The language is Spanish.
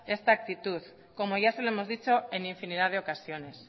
esta actitud como ya se lo hemos dicho en infinidad de ocasiones